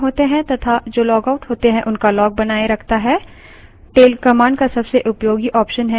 auth log file जो login होते हैं तथा जो लॉगआउट होते हैं उनका log बनाए रखता है